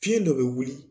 Fiɲɛ dɔ bɛ wuli